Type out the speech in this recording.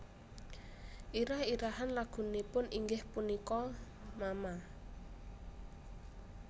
Irah irahan lagunipun inggih punika mama